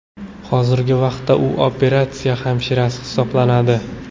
Hozirgi vaqtda u operatsiya hamshirasi hisoblanadi.